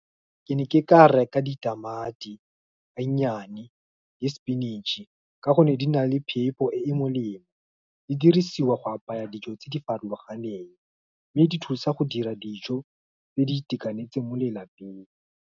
Ke ne ke ka reka ditamati, benyane, le spinach-e, ka gonne di na le phepo e e molemo. Di dirisiwa go apaya dijo tse di farologaneng, mme di thusa go dira dijo, tse di itekanetseng mo lelapeng.